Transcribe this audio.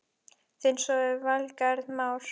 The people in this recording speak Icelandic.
Þinn sonur, Valgarð Már.